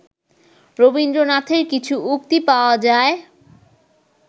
রবীন্দ্রনাথের কিছু উক্তি পাওয়া যায়